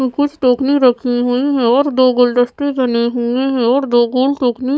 कु कुछ टोकनी रखी हुई हैं और दो गुलदस्ते बने हुए हैं और दो गोल टोकनी --